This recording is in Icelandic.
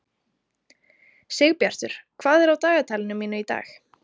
Sigbjartur, hvað er á dagatalinu mínu í dag?